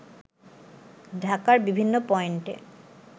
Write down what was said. ঢাকার বিভিন্ন পয়েন্টে